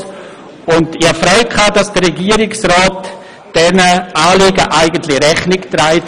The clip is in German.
Ich habe mich darüber gefreut, dass der Regierungsrat diesen Anliegen eigentlich Rechnung trägt.